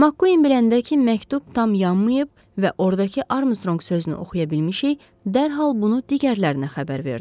Makkuin biləndə ki, məktub tam yanmayıb və ordakı Armstrong sözünü oxuya bilmişik, dərhal bunu digərlərinə xəbər verdi.